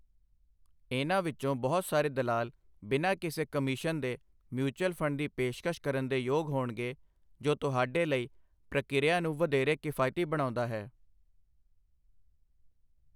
ਇਹਨਾਂ ਵਿੱਚੋਂ ਬਹੁਤ ਸਾਰੇ ਦਲਾਲ ਬਿਨਾਂ ਕਿਸੇ ਕਮਿਸ਼ਨ ਦੇ ਮਿਊਚਲ ਫੰਡ ਦੀ ਪੇਸ਼ਕਸ਼ ਕਰਨ ਦੇ ਯੋਗ ਹੋਣਗੇ, ਜੋ ਤੁਹਾਡੇ ਲਈ ਪ੍ਰਕਿਰਿਆ ਨੂੰ ਵਧੇਰੇ ਕਿਫਾਇਤੀ ਬਣਾਉਂਦਾ ਹੈ।